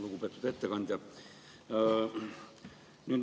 Lugupeetud ettekandja!